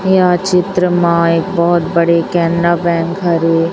यह चित्र मा एक बहोत बड़े केनरा बैंक हरे ।